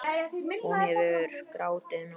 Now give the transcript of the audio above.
Hún hefur grátið nóg.